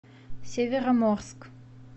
североморск